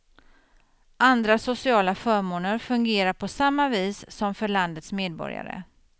Andra sociala förmåner fungerar på samma vis som för landets medborgare.